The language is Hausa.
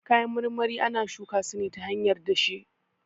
Kayan marmari ana shuka su ne ta hanyar dashe